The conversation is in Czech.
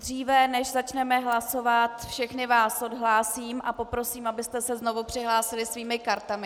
Dříve než začneme hlasovat, všechny vás odhlásím a poprosím, abyste se znovu přihlásili svými kartami.